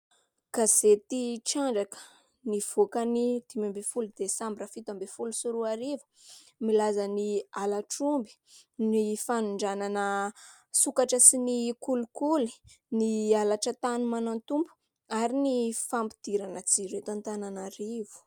Gazety Trandraka, nivoaka ny dimy ambin'ny folo Desambra, fito ambin'ny folo sy roa arivo, milaza : ny halatr'omby, ny fanondranana sokatra sy ny kolikoly, ny halatra tany manan-tompo, ary ny fampidirana jiro eto Antananarivo.